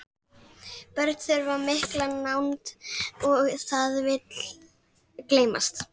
Börn þurfa mikla nánd og það vill gleymast.